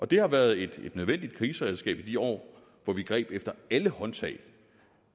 det har været et nødvendigt kriseberedskab i de år hvor vi greb efter alle håndtag